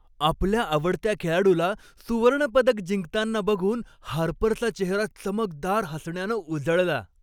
आपल्या आवडत्या खेळाडूला सुवर्णपदक जिंकताना बघून हार्परचा चेहरा चमकदार हसण्यानं उजळला.